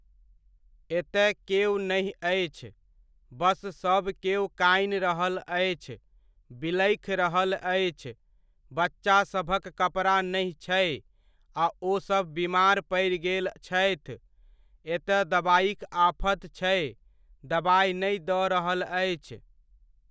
एतय केओ नहि अछि, बस सब केओ कानि रहल अछि, बिलखि रहल अछि, बच्चासभक कपड़ा नहि छै आ ओसभ बीमार पड़ि गेल छथि, एतय दबाइक आफत छै, दबाइ नहि दऽ रहल अछि।